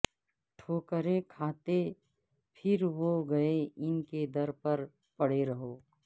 ٹھو کریں کھا تے پھر و گے ان کے در پر پڑے رہو